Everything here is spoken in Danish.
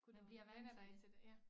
Kunne du vænne dig til det ja